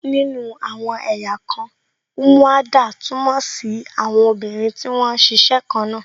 Nínú àwọn ẹ̀yà kan, umuada túmọ̀ sí àwọn obìnrin tí wón ń ṣiṣẹ́ kan náà